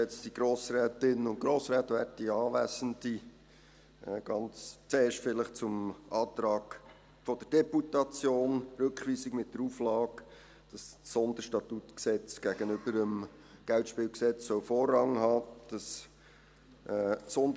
Ganz zuerst vielleicht zum Antrag der Deputation: Rückweisung mit der Auflage, dass das SStG gegenüber dem KGSG Vorrang haben soll.